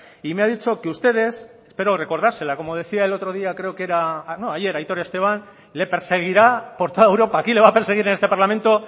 y me ha dicho que ustedes espero recordársela como decía el otro día como decía ayer aitor esteban le perseguirá por toda europa aquí le va a perseguir en este parlamento